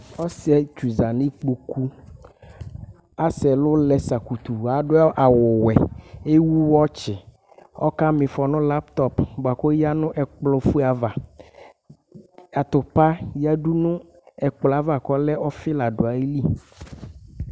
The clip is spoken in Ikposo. Ɔsɩetsu za nɩ ikpoku Asɛ ɛlʋ lɛ zakutu Adʋ awʋwɛ, ewu wɔtsɩ Ɔkama ɩfɔ nʋ laptɔp bʋa kʋ ɔyǝ nʋ ɛkplɔfue ava Atʋpa yǝdu nʋ ɛkplɔ yɛ ava kʋ ɔlɛ ɔfɩ la dʋ ayili